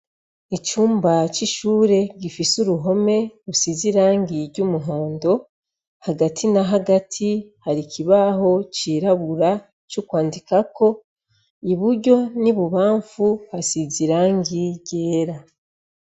Icumba c'ishure gifise uruhome risize irangi ry'umuhondo hagati na hagati hari ikibaho c'irabura cokwandikako iburyo n'ibubamfu hasize irangi ryera.